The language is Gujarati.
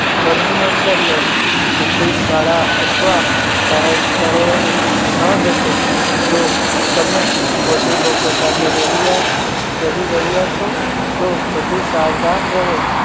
ઘરની અંદર લો office શાળા અથવા જાહેર સ્થળોએ ન જશો જો તમે વધુ લોકો સાથે રહ્યા રહી રહ્યા છો તો વધુ સાવધાન રહો